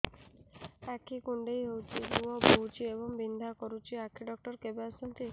ଆଖି କୁଣ୍ଡେଇ ହେଉଛି ଲୁହ ବହୁଛି ଏବଂ ବିନ୍ଧା କରୁଛି ଆଖି ଡକ୍ଟର କେବେ ଆସନ୍ତି